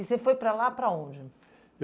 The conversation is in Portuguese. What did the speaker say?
E você foi para lá para onde?